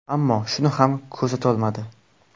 Ammo shuni ham ko‘rsatolmadi.